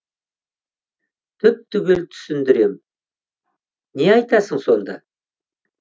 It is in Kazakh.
түп түгел түсіндірем не айтасың сонда